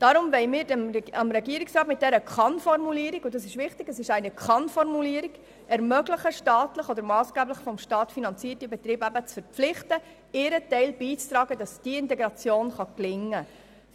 Deshalb wollen wir dem Regierungsrat mit dieser Kann-Formulierung ermöglichen, staatliche oder massgeblich vom Staat finanzierte Betriebe zu verpflichten, ihren Teil dazu beizutragen, dass die Integration gelingen kann.